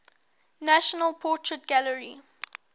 national portrait gallery